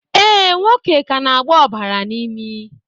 Ee, nwoke ka na-agba ọbara n'imi